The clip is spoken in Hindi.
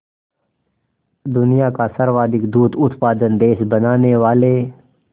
दुनिया का सर्वाधिक दूध उत्पादक देश बनाने वाले